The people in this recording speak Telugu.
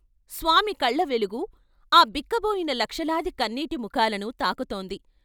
స్వామి కళ్ళ వెలుగు ఆ బిక్కబోయిన లక్షలాది కన్నీటి ముఖాలను తాకుతోంది.